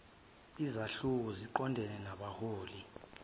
izahluko ziqondene nabahloli